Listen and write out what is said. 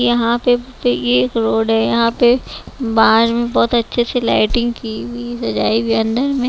यहाँ पे यह रोड है यहाँ पे बाहर बहुत अच्छे से लाइटिंग की हुई है सजाई हुई अंदर में--